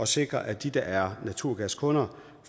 sikre at de der er naturgaskunder